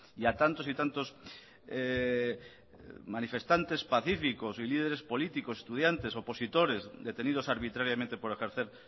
y a tantos y tantos manifestantes pacíficos y líderes políticos estudiantes opositores detenidos arbitrariamente por ejercer